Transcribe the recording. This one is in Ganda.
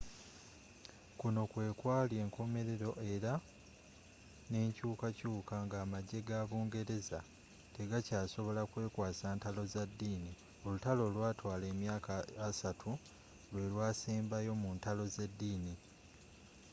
kuno kwe kwali enkomerero era n'enkyukakyuka nga amagye ga bungereza tegakyasobola kwekwasa ntalo za ddini olutalo olwatwala emyaka assatu lwe lwasembayo mu ntalo z'eddini